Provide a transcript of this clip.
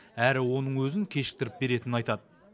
әрі оның өзін кешіктіріп беретінін айтады